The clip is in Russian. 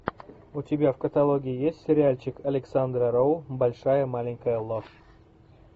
у тебя в каталоге есть сериальчик александра роу большая маленькая ложь